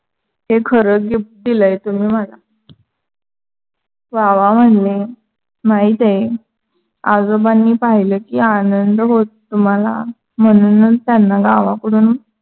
हे खरंच gift दिलय तुम्ही मला. वाहवाह म्हणले. माहीत आहे. आजोबांनी पाहिलं की आनंद होतो तुम्हाला म्हणूनच त्यांना गावाकडून